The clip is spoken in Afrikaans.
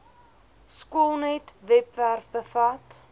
skoolnet webwerf bevat